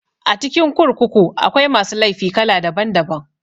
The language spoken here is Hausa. A cikin kurkuku akwai masu laifi kala daban daban